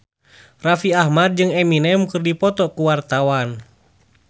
Raffi Ahmad jeung Eminem keur dipoto ku wartawan